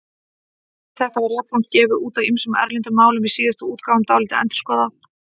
Rit þetta var jafnframt gefið út á ýmsum erlendum málum, í síðustu útgáfunum dálítið endurskoðað.